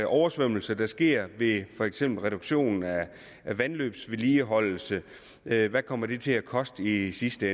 oversvømmelser der sker for eksempel reduktion af vandløbsvedligeholdelse hvad kommer det til at koste i sidste